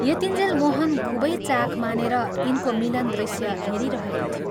यतिन्जेल मोहन खूबै चाख मानेर यिनको मिलन दृश्य हेरिरहेको थियो।